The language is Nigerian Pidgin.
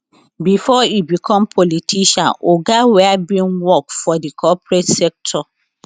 bifor e become politician oga were bin work for di corporate sector